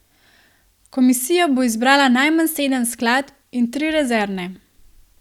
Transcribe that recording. Komisija bo izbrala najmanj sedem skladb in tri rezervne.